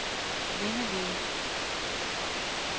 kvindelige